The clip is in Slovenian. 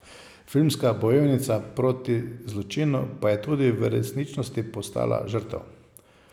Filmska bojevnica proti zločinu pa je tudi v resničnosti postala žrtev.